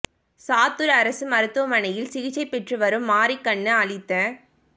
சாத்துார் அரசு மருத்துவமனையில் சிகிச்சை பெற்று வரும் மாரிக் கண்ணு அளித்த